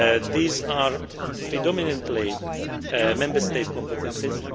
These are predominantly Member State competences.